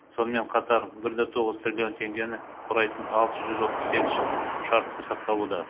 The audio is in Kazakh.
сонымен қатар бір да тоғыз триллион теңгені құрайтын алты жүз отыз сегіз шарт сақталуда